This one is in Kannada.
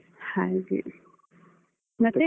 ಹಾಗೆ. ಮತ್ತೆ?